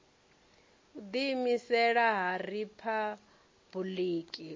u ḓiimisela ha riphabuliki u